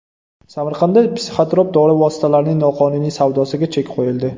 Samarqandda psixotrop dori vositalarining noqonuniy savdosiga chek qo‘yildi.